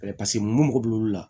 paseke mun mago b'olu la